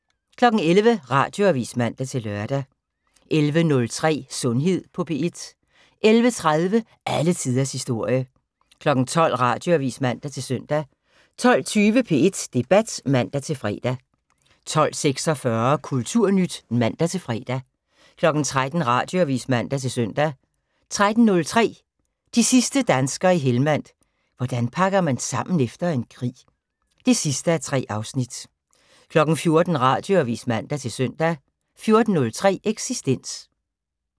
11:00: Radioavis (man-lør) 11:03: Sundhed på P1 11:30: Alle tiders historie 12:00: Radioavis (man-søn) 12:20: P1 Debat (man-fre) 12:46: Kulturnyt (man-fre) 13:00: Radioavis (man-søn) 13:03: De sidste danskere i Helmand – hvordan man pakker sammen efter en krig 3:3 14:00: Radioavis (man-søn) 14:03: Eksistens